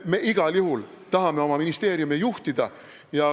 Me igal juhul tahame oma ministeeriume juhtida.